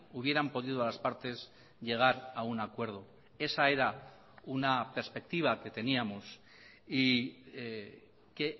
hubieran podido las partes llegar a un acuerdo esa era una perspectiva que teníamos y que